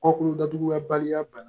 Kɔkundatuguyabaliya bana